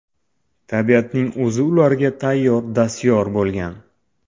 Tabiatning o‘zi ularga tayyor dastyor bo‘lgan.